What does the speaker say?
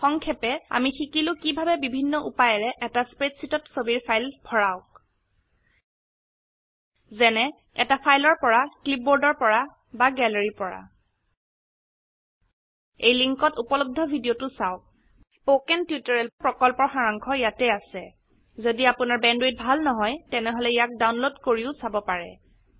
সংক্ষেপে আমি শিকিলো কিভাবে বিভিন্ন উপায়েৰে এটা স্প্ৰেডশীটত ছবিৰ ফাইল ভৰাওক যেনে এটা ফাইলৰ পৰা ক্লিপবোৰ্ডৰ পৰা বা গ্যালাৰীৰ পৰা এই লিঙ্কত উপলব্ধ ভিডিওটো চাওক স্পকেন টিউটৰিয়েল প্ৰকল্পৰ সাৰাংশ ইয়াত আছে যদি আপোনাৰ বেণ্ডৱিডথ ভাল নহয় তেনেহলে ইয়াক ডাউনলোড কৰিও চাব পাৰে